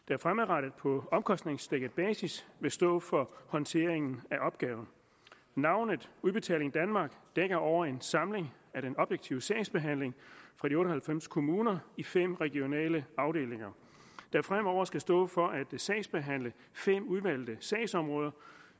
der fremadrettet på omkostningsdækket basis vil stå for håndteringen af opgaven navnet udbetaling danmark dækker over en samling af den objektive sagsbehandling for de otte og halvfems kommuner i fem regionale afdelinger der fremover skal stå for at sagsbehandle fem udvalgte sagsområder